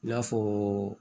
I n'a fɔ